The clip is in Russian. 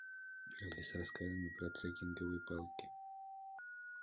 алиса расскажи мне про трекинговые палки